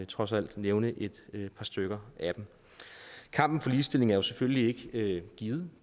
trods alt nævne et par stykker af dem kampen for ligestilling er jo selvfølgelig ikke givet og